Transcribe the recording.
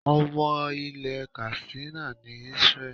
Ọmọ ilẹ̀ Katsina ni Israel.